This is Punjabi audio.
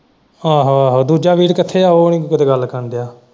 ਆਹੋ ਆਹੋ ਦੂਜਾ ਵੀਰ ਕਿੱਥੇ ਹੈ ਉਹ ਨਹੀਂ ਤੇਰੀ ਗੱਲ ਸੁਨਣ ਦਿਆ।